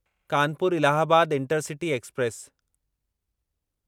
Kanpur Allahabad intercity express